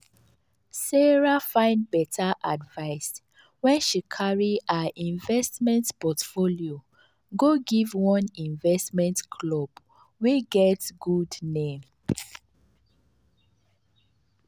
sarah find better advice when she carry her investment portfolio go give one investment club wey get good name.